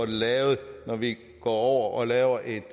det lavet når vi går over og laver et